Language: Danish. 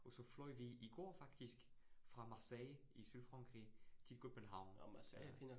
Og så fløj vi i går faktisk fra Marseille i Sydfrankrig til København øh